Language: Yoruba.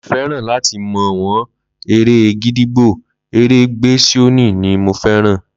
Mí ọ feran láti mo wo èrè gídígbò, ere gbe sioni ni mo feran